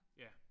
Ja